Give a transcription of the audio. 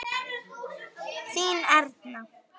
Þín Erna.